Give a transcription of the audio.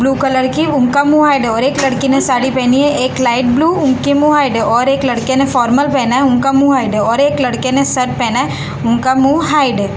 Blue colour की उनका मुंह हाइड है और एक लड़की ने साड़ी पहनी है एक लाइट ब्लू उनके मुंह हाइड है और एक लड़के ने फॉर्मल पहना है उनका मुंह हाइड है और एक लड़के ने शर्ट पहना है उनका मुंह हाइड है।